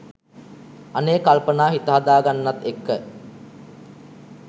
අනේ කල්පනා හිත හදා ගන්නත් එක්ක